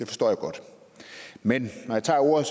forstår jeg godt men når jeg tager ordet